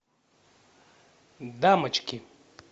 дамочки